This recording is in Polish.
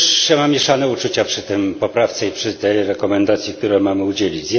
Mam mieszane uczucia przy tej poprawce i przy tej rekomendacji, której mamy udzielić.